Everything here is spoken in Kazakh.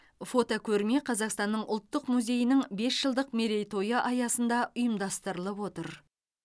фотокөрме қазақсатнның ұлттық музейінің бес жылдық мерейтойы аясында ұйымдастырылып отыр